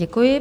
Děkuji.